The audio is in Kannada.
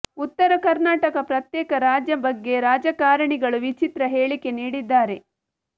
ಉತ್ತರ ಕರ್ನಾಟಕ ಪ್ರತ್ಯೇಕ ರಾಜ್ಯ ಬಗ್ಗೆ ರಾಜಕಾರಣಿಗಳು ವಿಚಿತ್ರ ಹೇಳಿಕೆ ನೀಡಿದ್ದಾರೆ